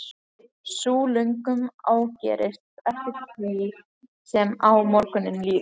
Sú löngun ágerist eftir því sem á morguninn líður.